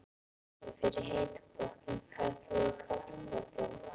Ég fer í heita pottinn. Ferð þú í kalda pottinn?